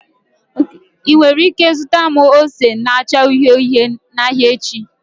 Ị nwere ike zụta m ose na-acha uhie uhie n'ahịa echi?